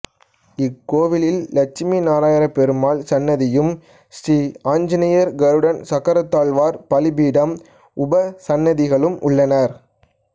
இக்கோயிலில் லெட்சுமி நாராயணப்பெருமாள் சன்னதியும் ஸ்ரீஆஞ்சநேயர் கருடன் சக்கரத்தாழ்வார் பலிபீடம் உபசன்னதிகளும் உள்ளன